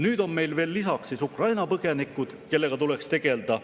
Nüüd on meil veel lisaks Ukraina põgenikud, kellega tuleks tegelda.